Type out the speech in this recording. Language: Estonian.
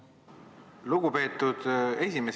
Lugupeetud esimees!